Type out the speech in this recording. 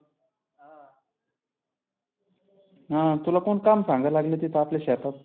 हं तुला कोण काम सांगायला लागलं तीथं आपल्या शेतात.